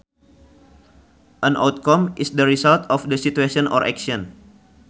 An outcome is the result of a situation or action